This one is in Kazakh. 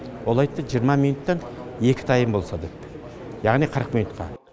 ол айтты жиырма минуттан екі тайм болса деп яғни қырық минутқа